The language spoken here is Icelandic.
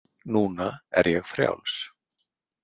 Núna er ég frjáls.